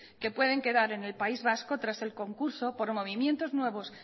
que pueden quedar en el país vasco tras el concurso por movimientos nuevos